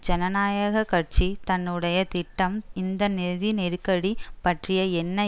ஜனநாயக கட்சி தன்னுடைய திட்டம் இந்த நிதி நெருக்கடி பற்றி என்ன